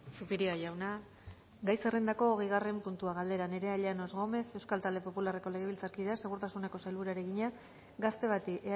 zupiria jauna gai zerrendako hogeigarren puntua galdera nerea llanos gómez euskal talde popularreko legebiltzarkideak segurtasuneko sailburuari egina gazte bati